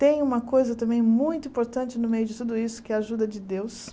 Tem uma coisa também muito importante no meio de tudo isso, que é a ajuda de Deus.